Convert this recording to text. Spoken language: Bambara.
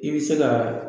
I bɛ se ka